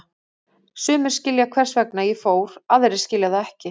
Sumir skilja hvers vegna ég fór, aðrir skilja það ekki.